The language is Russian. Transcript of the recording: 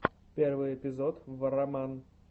первый эпизод варроман